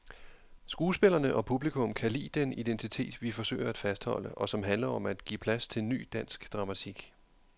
Skuespillerne og publikum kan lide den identitet, vi forsøger at fastholde, og som handler om at give plads til ny, dansk dramatik.